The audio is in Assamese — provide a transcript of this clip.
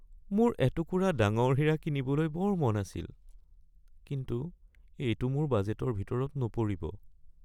মোৰ এটুকুৰা ডাঙৰ হীৰা কিনিবলৈ বৰ মন আছিল কিন্তু এইটো মোৰ বাজেটৰ ভিতৰত নপৰিব।